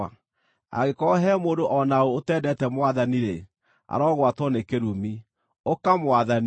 Angĩkorwo he mũndũ o na ũ ũtendete Mwathani-rĩ, arogwatwo nĩ kĩrumi. Ũka, Mwathani!